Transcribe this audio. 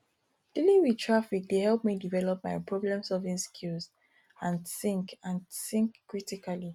dealing with traffic dey help me develop my problemsolving skills and think and think critically